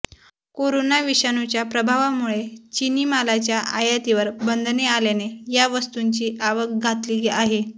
corona विषाणूच्या प्रभावामुळे चिनी मालाच्या आयातीवर बंधने आल्याने या वस्तूंची आवक घटली आहे